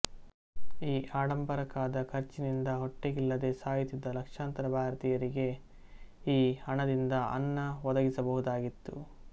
ಈ ಆಡಂಬರಕ್ಕಾದ ಖರ್ಚಿನಿಂದ ಹೊಟ್ಟೆಗಿಲ್ಲದೆ ಸಾಯುತ್ತಿದ್ದ ಲಕ್ಷಾಂತರ ಭಾರತೀಯರಿಗೆ ಈ ಹಣದಿಂದ ಅನ್ನ ಒದಗಿಸಬಹುದಾಗಿತ್ತು